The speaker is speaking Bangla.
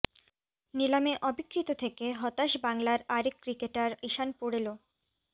নিলামে অবিক্রিত থেকে হতাশ বাংলার আরেক ক্রিকেটার ঈশান পোড়েলও